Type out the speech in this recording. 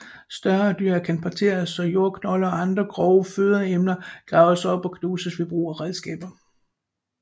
Større dyr kan parteres og jordknolde og andre grove fødeemner graves op og knuses ved brug af redskaber